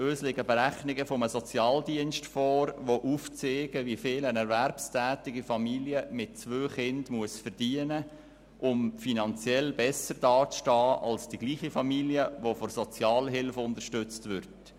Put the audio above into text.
Uns liegen Berechnungen eines Sozialdienstes vor, die aufzeigen, wie viel eine erwerbstätige Familie mit zwei Kindern verdienen muss, um finanziell besser dazustehen als die gleiche Familie, die von Sozialhilfe unterstützt wird.